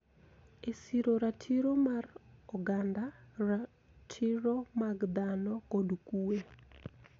E siro ratiro mar oganda, ratiro mag dhano, kod kuwe,